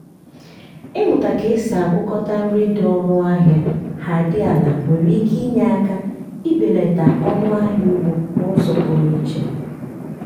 ịmụta ka esi agwakọta nri dị ọnụ ahịa ha dị ala nwere ike inye aka ibelata ọnụ ahịa ugbo n’uzo pụrụ iche